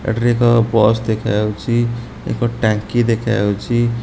ଏଠାରେ ଏକ ବସ୍ ଦେଖାଯାଉଚି। ଏକ ଟାଙ୍କି ଦେଖାଯାଉଚି।